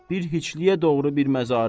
Bir heçliyə doğru bir məzarə.